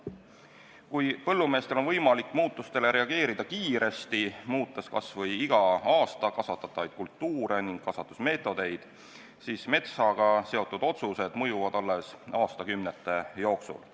Kui põllumeestel on võimalik muutustele reageerida kiiresti, muutes kas või iga aasta kasvatatavaid kultuure ning kasvatusmeetodeid, siis metsaga seotud otsused mõjuvad alles aastakümnete jooksul.